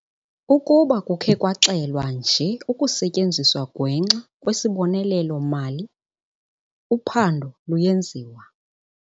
"Ukuba kukhe kwaxelwa nje ukusetyenziswa ngwenxa kwesibonelelo-mali, uphando luyenziwa."